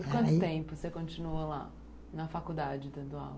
)Por quanto tempo você continuou lá, na faculdade, dando aula?